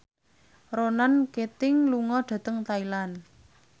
Ronan Keating lunga dhateng Thailand